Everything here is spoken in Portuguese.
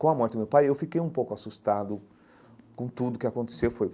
Com a morte do meu pai, eu fiquei um pouco assustado com tudo o que aconteceu foi.